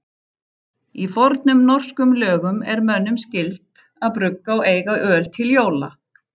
Í fornum norskum lögum er mönnum skylt að brugga og eiga öl til jóla.